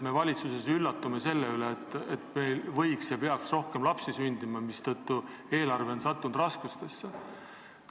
Valitsus üllatub sellest, et meil võiks rohkem lapsi sündida ja peaks rohkem lapsi sündima, mistõttu eelarve on sattunud raskustesse.